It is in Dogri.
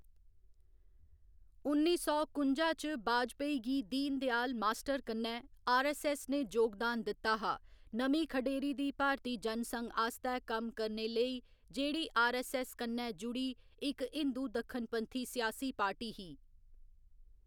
उन्नी सौ कुंजा च वाजपेयी गी दीनदयाल मास्टर कन्नै आरऐस्सऐस्स ने जोगदान दित्ता हा, नमीं खढेरी दी भारती जनसंघ आस्तै कम्म करने लेई जेह्‌‌ड़ी आरऐस्सऐस्स कन्नै जुड़ी इक हिंदू दक्खनपंथी सियासी पार्टी ही।